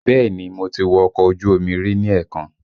Bẹẹ ni, mo ti wọ ọkọ ojú omi rí ní èèkàn